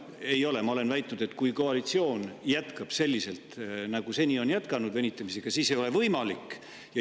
Ei, ma olen väitnud, et kui koalitsioon jätkab selliselt nagu seni, venitamisega, siis ei ole see võimalik.